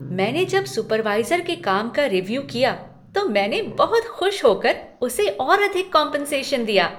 मैंने जब सुपरवाइज़र के काम का रीव्यू किया तो मैंने बहुत खुश होकर उसे और अधिक कॉम्पेन्सेशन दिया।